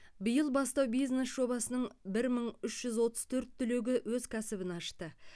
биыл бастау бизнес жобасының бір мың үш жүз отыз төрт түлегі өз кәсіпбін ашты